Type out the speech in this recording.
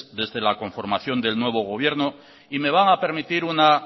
desde la conformación del nuevo gobierno y me van a permitir una